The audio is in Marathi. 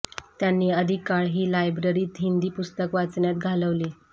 त्यांनी अधिक काळ ही लायब्ररीत हिंदी पुस्तक वाचण्यात घालवली